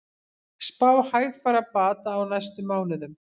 Spá hægfara bata á næstu mánuðum